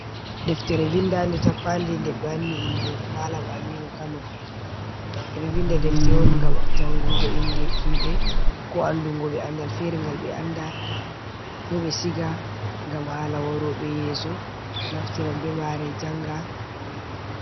Ɗeftere vinɗanɗe tappanɗe ɗe be wanni inɗe malam aminu kano. Beɗo vinɗa defte on ngam jangungo inɗe himbe. Ko anɗungo be anɗal fere ngal be anda. Ko be siga ngam hala warobe yeso naftiran be mare janga.